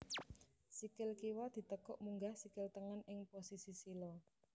Sikil kiwa ditekuk munggah sikil tengen ing posisi sila